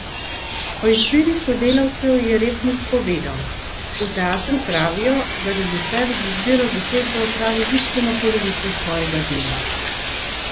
O izbiri sodelavcev je Repnik povedal: "V teatru pravijo, da režiser z izbiro zasedbe opravi bistveno polovico svojega dela.